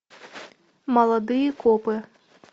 молодые копы